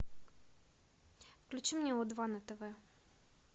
включи мне о два на тв